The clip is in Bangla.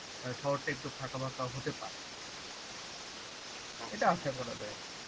শহরটা একটু ফাঁকা ফাঁকা হতে পারে এইটা আসা করা যায়